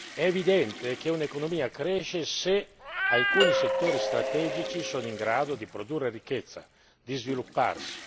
È evidente che un'economia cresce se alcuni settori strategici sono in grado di produrre ricchezza, di svilupparsi.